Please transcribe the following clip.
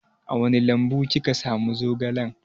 A wani lambu kika samu zogalan?